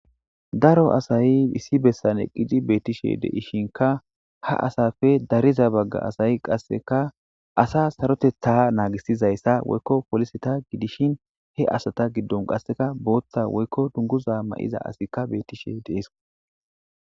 Daro asayi issi besan eqidi betishinka ha asappe dariza baga asayi qasika asa saroteta nagisida asa woyiko poliseta gidishin he asata gidon qasika botha woyiko dunguza mayida asatika betishe dee's